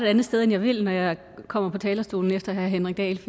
andet sted end jeg vil når jeg kommer på talerstolen efter herre henrik dahl